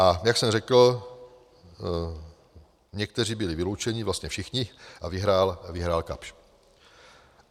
A jak jsem řekl, někteří byli vyloučeni, vlastně všichni, a vyhrál Kapsch.